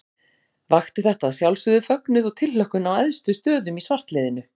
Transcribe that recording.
Vakti þetta að sjálfsögðu fögnuð og tilhlökkun á æðstu stöðum í svartliðinu.